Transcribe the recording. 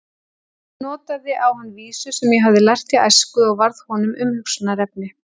Ég notaði á hann vísu sem ég hafði lært í æsku og varð honum umhugsunarefni.